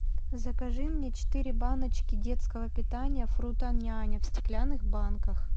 закажи мне четыре баночки детского питания фрутоняня в стеклянных банках